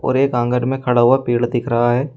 और एक आंगन में खड़ा हुआ पेड़ दिख रहा है।